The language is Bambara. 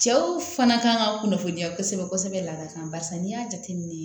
Cɛw fana kan ka kunnafoniya kosɛbɛ kosɛbɛ laada kan barisa n'i y'a jateminɛ